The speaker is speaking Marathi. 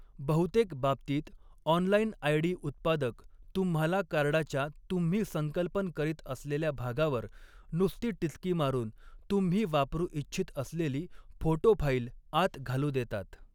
बहुतेक बाबतींत, ऑनलाईन आयडी उत्पादक तुम्हाला कार्डाच्या तुम्ही संकल्पन करीत असलेल्या भागावर नुसती टिचकी मारून, तुम्ही वापरू इच्छित असलेली फोटो फाईल आत घालू देतात.